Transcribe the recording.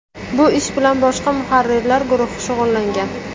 Bu ish bilan boshqa muharrirlar guruhi shug‘ullangan.